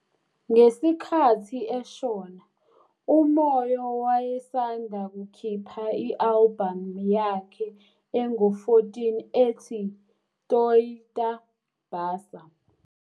Ngesikhathi eshona, uMoyo wayesanda kukhipha i-albhamu yakhe engu-14 ethi 'Toita Basa'.